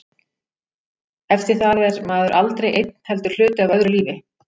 Eftir það er maður aldrei einn heldur hluti af öðru lífi.